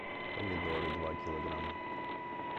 помидоры два килограмма